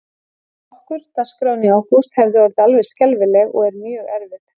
Hjá okkur, dagskráin í ágúst hefði orðið alveg skelfileg og er mjög erfið.